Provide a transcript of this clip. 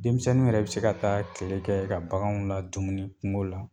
Denmisɛnninw yɛrɛ bɛ se ka taa tile kɛ ye ka baganw ladumuni kungo la.